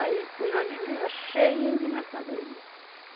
Aí o navio vinha cheinho de mercadoria.